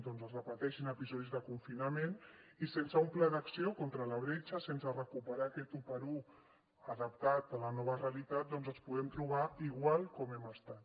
doncs que es repeteixin episodis de confinament i sense un pla d’acció contra la bretxa sense recuperar aquest 1x1 adaptat a la nova realitat doncs ens podem trobar igual com hem estat